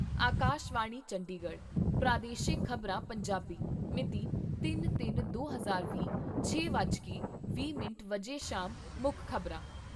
ਆਕਾਸ਼ਵਾਣੀ ਚੰਡੀਗੜ੍ਹ ਪ੍ਰਾਦੇਸ਼ਿਕ ਖ਼ਬਰਾਂ , ਪੰਜਾਬੀ ਮਿਤੀ ਤਿੰਨ ਤਿੰਨ ਦੋ ਹਜ਼ਾਰ ਵੀਹ, ਛੇ ਵੱਜ ਕੇ ਵੀਹ ਮਿੰਟ ਸ਼ਾਮ ਮੁੱਖ ਖ਼ਬਰਾਂ